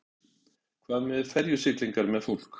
Magnús Hlynur: Hvað með ferjusiglingar með fólk?